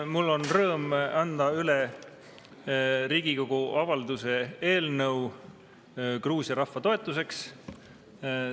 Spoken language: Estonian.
Mul on rõõm anda üle Riigikogu avalduse "Gruusia rahva toetuseks" eelnõu.